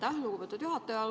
Aitäh, lugupeetud juhataja!